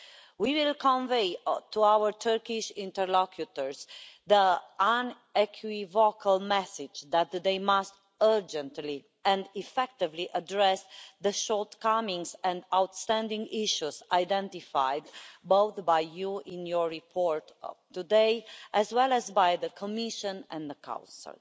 We will convey to our Turkish interlocutors the unequivocal message that they must urgently and effectively address the shortcomings and outstanding issues identified both by you in your report today and by the Commission and the Council.